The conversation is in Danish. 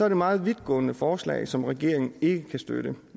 et meget vidtgående forslag som regeringen ikke kan støtte